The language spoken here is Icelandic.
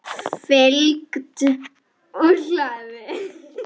Fylgt úr hlaði